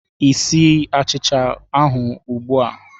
Ị sie achicha ahụ ugbu a?